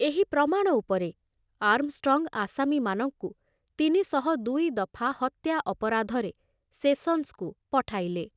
ଏହି ପ୍ରମାଣ ଉପରେ ଆର୍ମଷ୍ଟ୍ରଙ୍ଗ ଆସାମୀମାନଙ୍କୁ ତିନି ଶହ ଦୁଇ ଦଫା ହତ୍ୟା ଅପରାଧରେ ସେସନ୍ସକୁ ପଠାଇଲେ।